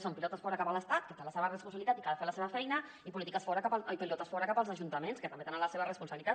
són pilotes fora cap a l’estat que té la seva responsabilitat i que ha de fer la seva feina i pilotes fora cap als ajuntaments que també tenen la seva responsabilitat